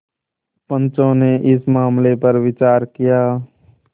पंचो ने इस मामले पर विचार किया